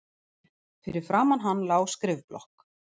Fyrir framan hann lá skrifblokk.